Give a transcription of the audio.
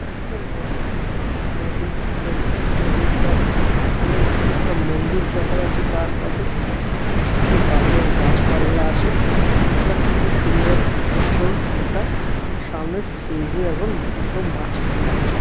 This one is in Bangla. একটা নদীর নদীর ছবি নদীর পারে অনেক একটা মন্দির দেখা যাচ্ছে তার পাশে কিছু কিছু বাড়ি আর গাছপালা আছে একটা খুবই সুন্দর দৃশ্য এটা সামনে সূর্য এবং একদম মাঝখানে আছে।